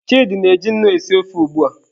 Chidi na-eji nnu esi ofe ugbua.